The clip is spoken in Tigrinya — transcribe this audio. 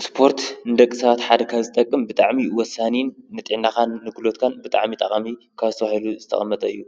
እስፖርት ንደቂ ሰባት ሓደ ካብ ዝጠቅም ብጣዕሚ ወሳኒን ንጥዕናኻን ንግልቦትካን ብጣዕሚ ጠቃሚ ካብ ተባሂሉ ዝተቀመጠ እዩ